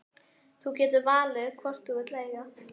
Þú getur valið hvorn þú vilt eiga.